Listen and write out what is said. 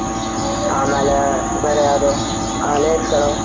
ಆಮೇಲೆ ಬೇರೆ ಯಾವದು lays